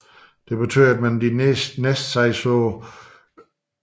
Det betød at man de næste par år kun havde 6 hold i ligaen